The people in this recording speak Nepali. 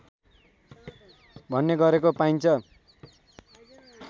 भन्ने गरेको पाइन्छ